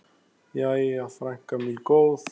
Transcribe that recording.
Jæja, frænka mín góð.